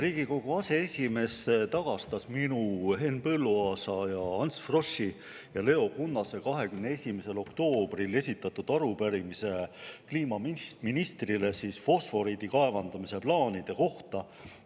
Riigikogu aseesimees tagastas minu, Henn Põlluaasa, Ants Froschi ja Leo Kunnase 21. oktoobril esitatud arupärimise kliimaministrile fosforiidi kaevandamise plaanide kohta.